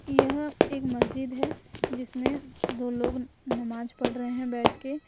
यह एक मस्जिद है जिसमें दो लोग नमाज पढ़ रहे हैं बैठ के।